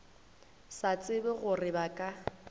sa tsebe gore ba ka